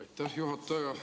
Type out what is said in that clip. Aitäh!